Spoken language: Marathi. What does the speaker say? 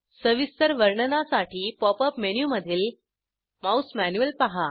सविस्तर वर्णनासाठी पॉप अप मेनूमधील माउस मॅन्युअल पहा